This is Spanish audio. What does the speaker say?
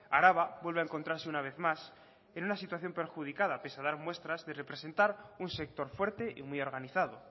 araba vuelve a encontrarse una vez más en una situación perjudicada pese a dar muestras de representar un sector fuerte y muy organizado